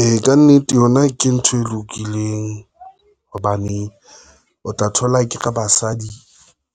E, ka nnete yona ke ntho e lokileng hobane, o tla thola akere basadi,